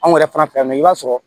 Anw yɛrɛ fana fɛ yan nɔ i b'a sɔrɔ